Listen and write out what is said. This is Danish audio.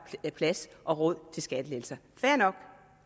plads og råd til skattelettelser fair nok